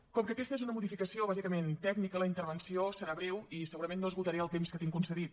com que aquesta és una modificació bàsicament tècnica la intervenció serà breu i segurament no esgotaré el temps que tinc concedit